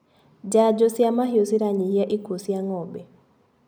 Janjo cia mahiũ ciranyihia ikuo cia ngombe.